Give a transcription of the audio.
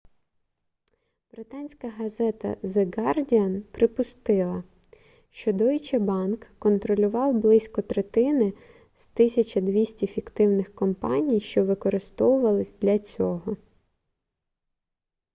британська газета the guardian припустила що deutsche bank контролював близько третини з 1200 фіктивних компаній що використовувались для цього